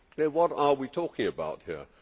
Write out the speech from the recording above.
What are we talking about here?